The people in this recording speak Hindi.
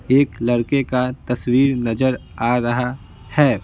एक लड़के का तस्वीर नजर आ रहा है।